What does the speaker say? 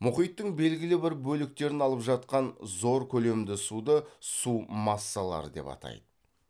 мұхиттың белгілі бір бөліктерін алып жатқан зор көлемді суды су массалары деп атайды